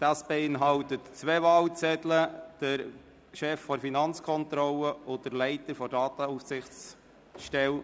Dieses beinhaltet zwei Wahlzettel und betrifft den Vorsteher der Finanzkontrolle und den Leiter der Datenaufsichtsstelle.